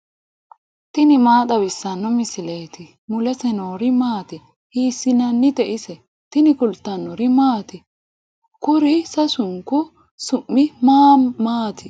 tini maa xawissanno misileeti ? mulese noori maati ? hiissinannite ise ? tini kultannori maati? Kuru sasunku su'mi maa maati?